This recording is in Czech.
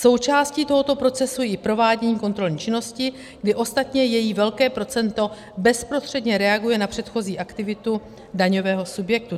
Součástí tohoto procesu je i provádění kontrolní činnosti, kdy ostatně její velké procento bezprostředně reaguje na předchozí aktivitu daňového subjektu.